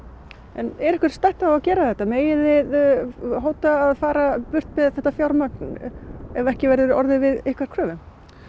en er ykkur stætt á að gera þetta megið þið hóta að fara burt með þetta fjármagn ef ekki verður orðið við ykkar kröfum